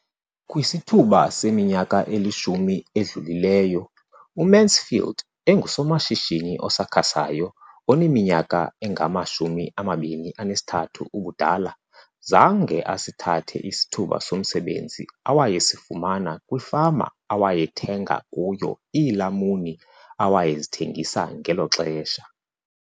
Kwisithuba seminyaka elishumi edlulileyo, uMansfield engusomashishini osakhasayo oneminyaka engama-23 ubudala, zange asithathe isithuba somsebenzi awayesifumana kwifama awayethenga kuyo iilamuni awayezithengisa ngelo xesha.